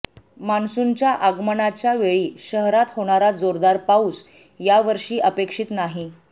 मान्सूनच्या आगमनाच्या वेळी शहरात होणारा जोरदार पाऊस यावर्षी अपेक्षित नाही